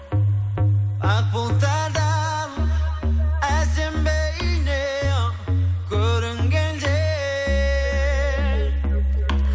ақ бұлттардан әсем бейнең көрінгенде